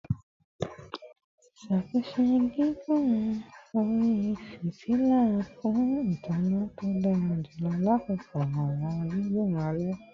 Ṣatunṣe igun ori fitila fun itanna to dara julọ lakoko awọn gigun alẹ